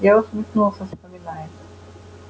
я усмехнулся вспоминая